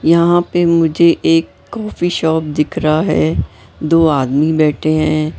यहां पे मुझे एक कॉफी शॉप दिख रहा है दो आदमी बैठे हैं।